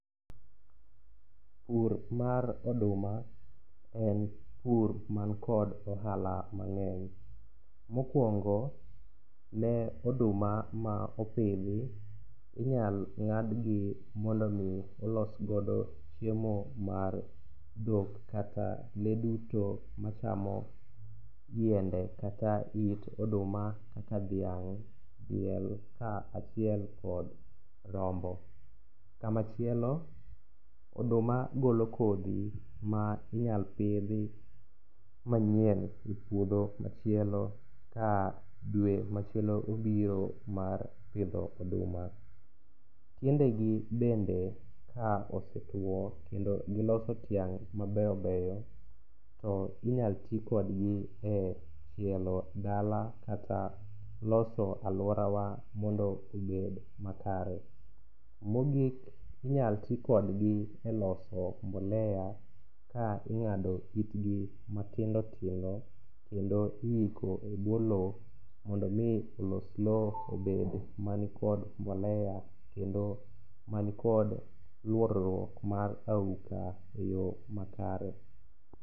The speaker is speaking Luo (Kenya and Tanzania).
Pur mar oduma en pur man kod ohala mang'eny . Mokwongo, ne oduma ma opidhi, inyalo ng'adgi mondo omi olos godo chiemo mar dhok kata lee duto machamo yiende kata it oduma kaka dhiang',diel kaachiel kod rombo. Kamachielo oduma golo kodhi ma inyalo pidhi manyien e puodho machielo ka dwe machielo obiro mar pidho oduma. Tiendegi bende ka osetuwo kendo giloso tieng' mabeyo beyo, to inyalo ti kodgi e chielo dala kata loso alworawa mondo obed makare. Mogik, inyalo ti kodgi e loso mbolea ka ing'ado itgi matindo tindo kendo iiko e bwo lowo mondo omi olos lowo obed mani kod mbolea kendo manikod luorruok mar auka e yo makare.